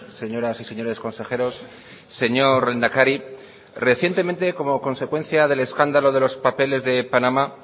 señoras y señores consejeros señor lehendakari recientemente como consecuencia del escándalo de los papeles de panamá